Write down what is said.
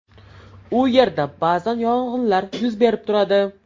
U yerda ba’zan yong‘inlar yuz berib turadi.